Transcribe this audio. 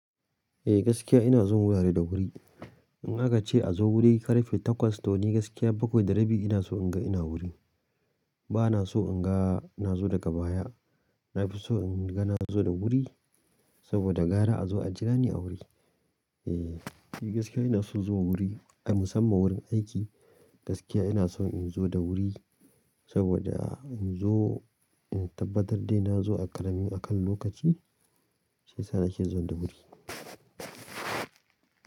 Eh gaskiya ina zuwan wurare da wuri. In aka ce a zo wuri karfe takwas da wani gaskiya bakwai da rabi ina so in ga ina wuri. Bana so in ga na zo daga baya. Na fi so in ga na zo da wuri. Saboda gara a zo ajira ni a wuri. E ni gaskiya ina son zuwa wurin, musamman aiki. Gaskiya ina son in zo da wuri saboda in zo in tabbatar dai na zo a ƙaramin, akan lokaci shiyasa na ke zuwa da wuri.